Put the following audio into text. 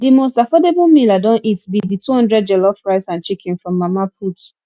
di most affordable meal i don eat be di 200 jollof rice and chicken from mama put